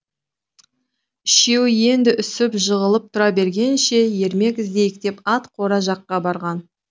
үшеуі енді үсіп жығылып тұра бергенше ермек іздейік деп ат қора жаққа барған